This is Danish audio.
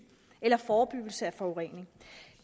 eller forebyggelse af forurening